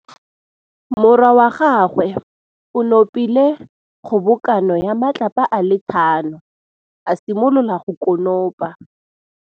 Morwa wa gagwe o nopile kgobokanô ya matlapa a le tlhano, a simolola go konopa.